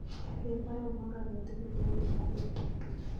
Ger baronok agetugul en Kipkorir